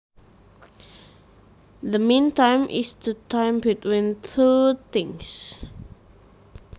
The meantime is the time between two things